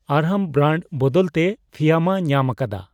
ᱟᱨᱦᱟᱢ brand ᱵᱚᱫᱚᱞ ᱛᱮ ᱯᱷᱤᱭᱟᱢᱟ ᱧᱟᱢ ᱟᱠᱟᱫᱟ ᱾